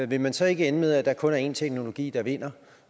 vil man så ikke ende med at der kun er én teknologi der vinder